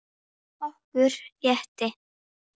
Okkur létti.